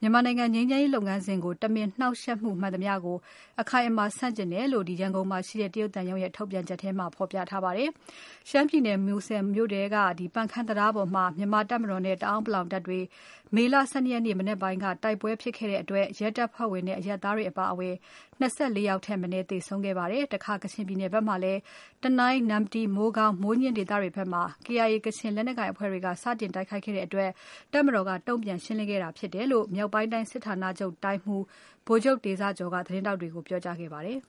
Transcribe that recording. မြန်မာနိုင်ငံငြိမ်းချမ်းရေးလုပ်ငန်းစဉ်ကို တမင်နှောင့်ယှက်မှု မှန်သမျှကို အခိုင်အမာဆန့်ကျင်တယ်လို့ ရန်ကုန်မှာရှိတဲ့ တရုတ်သံရုံးရဲ့ ထုတ်ပြန်ချက်ထဲမှာ ဖော်ပြထားပါတယ်။ မူဆယ်မြို့နယ်ထဲက ပန်ခမ်းတံတားပေါ်မှာ မြန်မာတပ်မတော်နဲ့ တအောင်းပလောင်တပ်တွေ မေလ ၁၂ရက်နေ့ မနက်ပိုင်း ကတိုက်ပွဲတွေဖြစ်ခဲ့တဲ့အတွက် ရဲတပ်ဖွဲ့ဝင်နဲ့ အရပ်သားတွေအပါအဝင် ၂၄ ယောက်ထက်မနည်း သေဆုံးခဲ့ပါတယ်။ တခါ ကချင်ပြည်နယ်ဖက်မှာလည်း တနိုင်း၊ နမ္မတီ၊ မိုးကောင်း၊ မိုးညှင်းဒေသတွေဖက်မှာ KIA ကချင်လက်နက်ကိုင်အဖွဲ့တွေက စတင်တိုက်ခိုက်တဲ့အတွက် တပ်မတော်က တုံ့ပြန်ရှင်းလင်းခဲ့တာဖြစ်တယ်လို့ မြောက်ပိုင်းတိုင်း စစ်ဌာနချုပ်တိုင်းမှူး ဗိုလ်ချုပ်တေဇကျော်က သတင်းထောက်တွေကို ပြောကြားခဲ့ပါတယ်